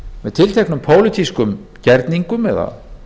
með tilteknum pólitískum gjörningum eða